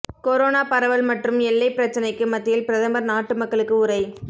corona பரவல் மற்றும் எல்லைப் பிரச்சினைக்கு மத்தியில் பிரதமர் நாட்டு மக்களுக்கு உரை